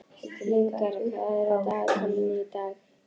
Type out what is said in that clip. Lyngar, hvað er á dagatalinu í dag?